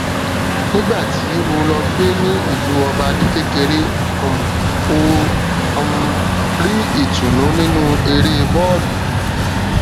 nígbà tí ó lọ gbé ní ìlú ọba ní kékeré um ó um rí ìtùnú nínú eré bóòlù